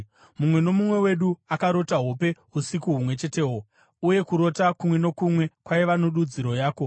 Mumwe nomumwe wedu akarota hope usiku humwe chetehwo, uye kurota kumwe nokumwe kwaiva nedudziro yako.